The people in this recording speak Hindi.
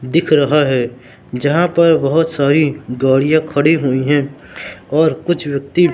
दिख रहा है जहां पर बहोत सारी गाड़ियां खड़ी हुई है और कुछ व्यक्ति--